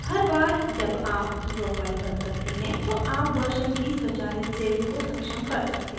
हर बार जब आप draw file बंद करते हैं तो आप versions की स्वचालित saving को सक्षम कर सकते हैं